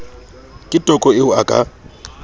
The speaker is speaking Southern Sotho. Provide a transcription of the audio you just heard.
ke toko eo a ka